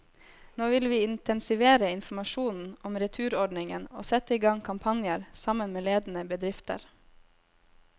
Nå vil vi intensivere informasjonen om returordningen og sette i gang kampanjer, sammen med ledende bedrifter.